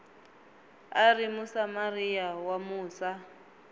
a ri musamariya wa musa